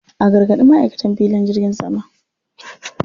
A gargaɗi ma'aikatan filin jirgin sama.